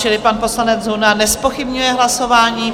Čili pan poslanec Zuna nezpochybňuje hlasování.